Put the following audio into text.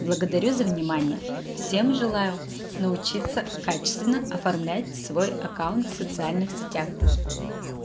благодарю за внимание всем желаю научиться качественно оформлять свой аккаунт в социальных сетях